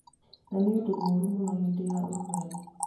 Na nĩ ũndũ mũũru mũno hĩndĩ ya ũrugarĩ.